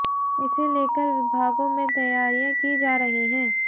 इसे लेकर विभागों में तैयारियां की जा रही हैं